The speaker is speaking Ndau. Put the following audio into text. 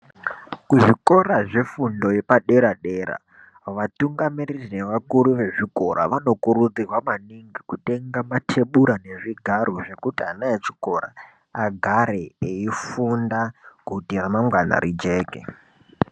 kuzvikora zvefundo yepadera-dera, vatungamiriri nevakuru vezvikora vanokurudzirwa maningi kutenga matebura nezvigaro zvekuti ana echikora agare, eifunda kuti ramangwana rijeke.